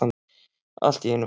Allt í einu fór um mig.